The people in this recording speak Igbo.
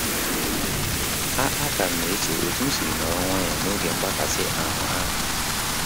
A A ka m na-eche otu m si nọrọ nwayọ na-oge mgbakasị ahụ ahu